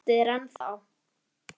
Ég óska eftir þér ennþá.